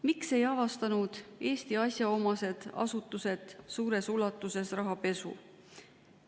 Miks ei avastanud Eesti asjaomased asutused niivõrd suures ulatuses rahapesu?